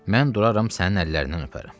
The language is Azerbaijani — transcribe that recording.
Mən duraram sənin əllərindən öpərəm.